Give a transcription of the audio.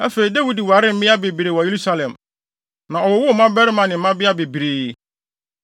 Afei, Dawid waree mmea bebree wɔ Yerusalem, na ɔwowoo mmabarima ne mmabea bebree.